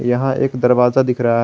यहां एक दरवाजा दिख रहा है।